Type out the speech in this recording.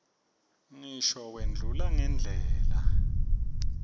ngisho wendlula ngendlela